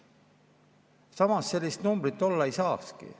Samas, sellist numbrit olla ei saakski.